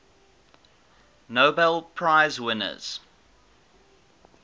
nobel prize winners